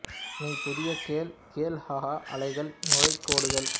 me புதிய கேல் கேல் ஹை அலைகள் நுரை கோடுகள்